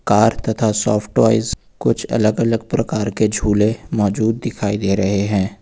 Car तथा soft toys कुछ अलग अलग प्रकार के झूले मौजूद दिखाई दे रहे हैं।